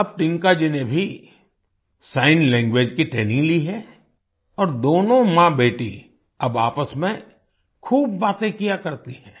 अब टिंकाजी ने भी सिग्न लैंग्वेज की ट्रेनिंग ली है और दोनों माँबेटी अब आपस में खूब बातें किया करती हैं